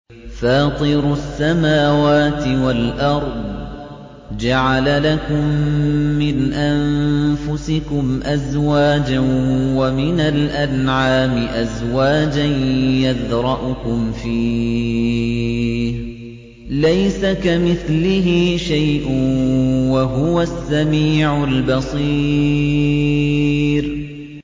فَاطِرُ السَّمَاوَاتِ وَالْأَرْضِ ۚ جَعَلَ لَكُم مِّنْ أَنفُسِكُمْ أَزْوَاجًا وَمِنَ الْأَنْعَامِ أَزْوَاجًا ۖ يَذْرَؤُكُمْ فِيهِ ۚ لَيْسَ كَمِثْلِهِ شَيْءٌ ۖ وَهُوَ السَّمِيعُ الْبَصِيرُ